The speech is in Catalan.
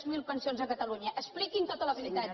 zero pensions a catalunya expliquin tota la veritat